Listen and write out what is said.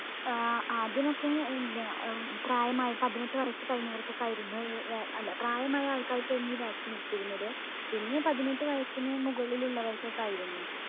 ഏർ ആദ്യമൊക്കെ പ്രായമായ പതിനെട്ട് വയസ്സ് കഴിഞ്ഞവർക്കൊക്കെ ആയിരുന്നു വാ അല്ല പ്രായമായ ആൾക്കാർക്ക് ആയിരുന്നു ഈ vaccine ഇരുന്നത്. പിന്നെ പതിനെട്ട് വയസിന് മുകളിലുള്ളവർക്കൊക്കെ ആയിരുന്നു